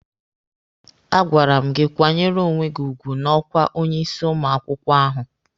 A gwara m gị kwanyere onwe gị ugwu n'ọkwa onye isi ụmụ akwụkwọ ahụ!